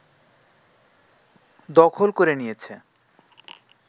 দখল করে নিয়েছে